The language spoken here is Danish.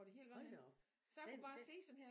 Hold da op den den